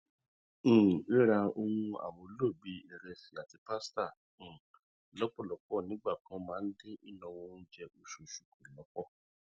um rírá ohun amúlò bíi ìrẹsì àti pasíta um lọpọlọpọ nígbà kan máa ń dín ináwó oúnjẹ oṣooṣu kù lọpọ